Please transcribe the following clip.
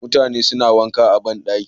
Mutane suna wanka a ban ɗaki.